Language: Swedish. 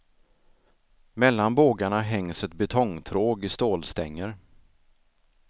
Mellan bågarna hängs ett betongtråg i stålstänger.